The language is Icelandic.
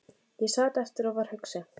Ég sat eftir og var hugsi.